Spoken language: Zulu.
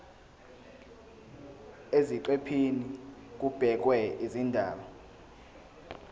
eziqephini kubhekwe izindaba